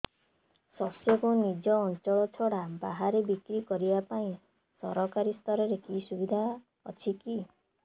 ଶସ୍ୟକୁ ନିଜ ଅଞ୍ଚଳ ଛଡା ବାହାରେ ବିକ୍ରି କରିବା ପାଇଁ ସରକାରୀ ସ୍ତରରେ କିଛି ସୁବିଧା ଅଛି କି